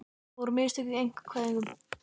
Voru mistök í einkavæðingunni?